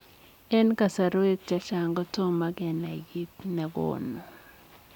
Eng kasarwek chechang kotomoo kenai kiit negonuu.